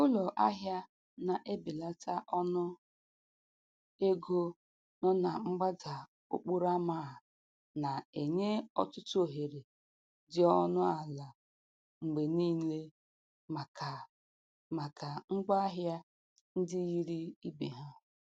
Ụlọ ahịa na-ebelata ọnụ ego nọ na mgbada okporo ama a na-enye ọtụtụ ohere dị ọnụ ala mgbe niile maka maka ngwa ahịa ndị yiri ibe ha.